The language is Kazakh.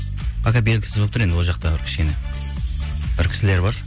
пока белгісіз болып тұр енді ол жақта бір кішкене бір кісілер бар